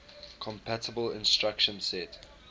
compatible instruction set